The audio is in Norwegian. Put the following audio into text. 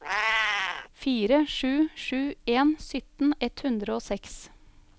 fire sju sju en sytten ett hundre og seks